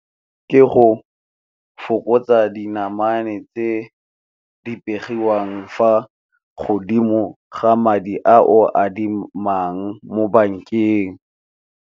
Ke go fokotsa dinamane tse di begiwang fa godimo ga madi a o adimang mo bankeng.